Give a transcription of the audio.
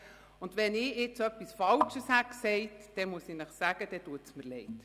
Sollte ich jetzt etwas Falsches gesagt haben, dann muss ich Ihnen sagen, dass es mir leidtut.